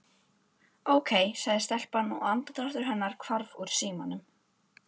Ókei sagði telpan og andardráttur hennar hvarf úr símanum.